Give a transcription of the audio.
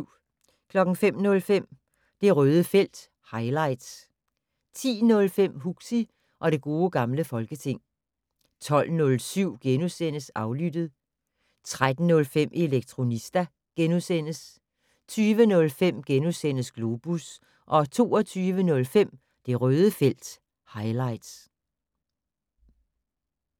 05:05: Det Røde felt - highlights 10:05: Huxi og det gode gamle folketing 12:07: Aflyttet * 13:05: Elektronista * 20:05: Globus * 22:05: Det Røde felt - highlights